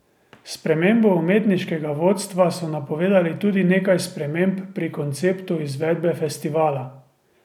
S spremembo umetniškega vodstva so napovedali tudi nekaj sprememb pri konceptu izvedbe festivala.